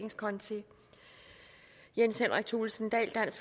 jens henrik thulesen dahl